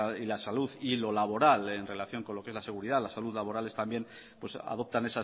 y la salud y lo laboral en relación con lo que es la seguridad la salud laboral es también pues adoptan